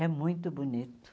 É muito bonito.